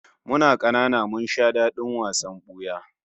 Muna kanana mun sha dadin wasan buya